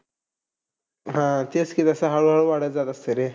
हा, तेच की जसं हळू-हळू वाढत जातं असतं रे.